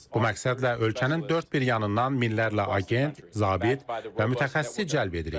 Bu məqsədlə ölkənin dörd bir yanından minlərlə agent, zabit və mütəxəssis cəlb edirik.